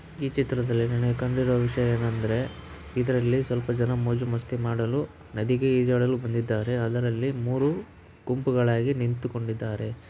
ಈ ಚಿತ್ರದಲ್ಲಿ ನನಗೆ ಕಂಡಿರುವ ವಿಷಯವೇನೆಂದರೆ ಇದರಲ್ಲಿ ಸ್ವಲ್ಪ ಜನ ಮೋಜು ಮಸ್ತಿ ಮಾಡಲು ನದಿಗೆ ಈಜಾಡಲು ಬಂದಿದ್ದಾರೆ ಅದರಲ್ಲಿ ಮೂರು ಗುಂಪುಗಳಾಗಿ ನಿಂತುಕೊಂಡಿದ್ದಾರೆ.